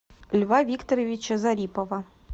льва викторовича зарипова